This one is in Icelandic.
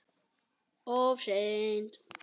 Of seint.